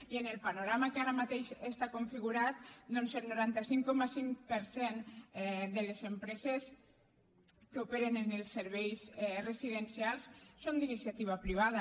i amb el panorama que ara mateix està configurat doncs el noranta cinc coma cinc per cent de les empreses que operen en els serveis residencials són d’iniciativa privada